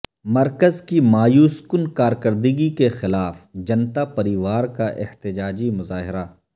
مرکز کی مایوس کن کارکردگی کے خلاف جنتا پریوار کا احتجاجی مظاہرہ